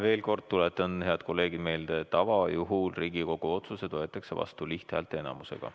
Veel kord, head kolleegid, tuletan meelde, et tavajuhul võetakse Riigikogu otsused vastu lihthäälteenamusega.